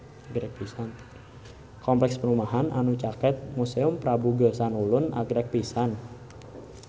Kompleks perumahan anu caket Museum Prabu Geusan Ulun agreng pisan